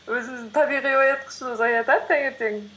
өзіміздің табиғи оятқышымыз оятады таңертең